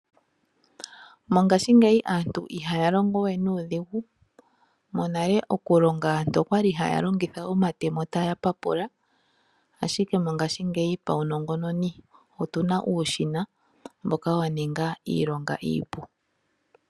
Mongashingeyi aantu ihaya longo we nuudhigu monale okulonga aantu okwali haya longitha omatemo taya papula ashike mongashingeyi paunongononi otuna uushina mboka wa ninga iilonga iipu.